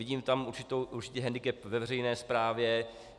Vidím tam určitý hendikep ve veřejné správě.